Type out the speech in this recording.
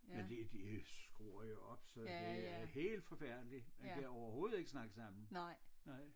Men de de skruer jo op så det er helt forfærdeligt man kan overhovedet ikke snakke sammen nej